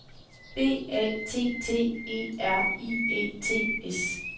B A T T E R I E T S